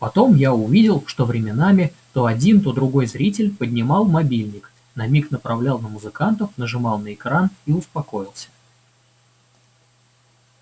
потом я увидел что временами то один то другой зритель поднимал мобильник на миг направлял на музыкантов нажимал на экран и успокоился